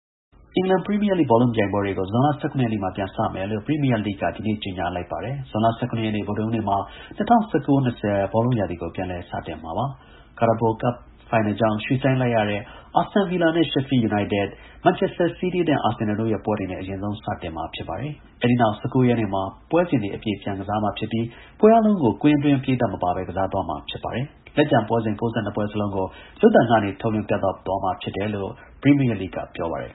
အင်္ဂလန်ပရီမီယာလိဂ်ဘောလုံးပွဲတွေကို ဇွန်လ ၁၇ ရက်နေ့မှာ ပြန်စမယ်လို့ ပရီမီယာလိဂ်က ကြာသပတေးနေ့မှာ ကြေညာလိုက်ပါတယ်။ ၂၀၁၉-၂၀ ဘောလုံးရာသီကို ဇွန်လ ၁၇ ရက် ဗုဒ္ဓဟူးနေ့မှာ ပြန်စတင်မှာဖြစ်ပါတယ်။ Carabao ဖလားဖိုင်နယ်ကြောင့် ရွှေ့ဆိုင်းလိုက်ရတဲ့ အက်စတွန်ဗီလာနဲ့ ရှက်ဖီးလ်ယူနိုက်တက်၊ မန်ချက်စတာစီးတီး နဲ့ အာဆင်နယ်တို့ရဲ့ ပွဲတွေနဲ့ အရင်ဆုံး စတင်မှာ ဖြစ်ပါတယ်။ အဲဒီနောက်၁၉ ရက်နေ့မှာ ပွဲစဉ်အပြည့်ကစားမှာဖြစ်ပြီး၊ ပွဲအားလုံးကို ပရိသတ်မပါဘဲ ကစားသွားမှာဖြစ်ပါတယ်။ လက်ကျန်ပွဲစဉ် ၉၂ ပွဲစလုံးကို ရုပ်သံကနေ ထုတ်လွှင့်ပြသသွားမှာဖြစ်တယ်လို့ ပရီမီယာလိဂ်က ပြောပါတယ်